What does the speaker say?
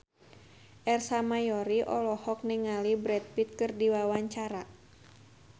Ersa Mayori olohok ningali Brad Pitt keur diwawancara